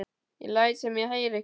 Ég læt sem ég heyri ekki.